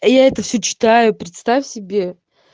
а я это все читаю представь себе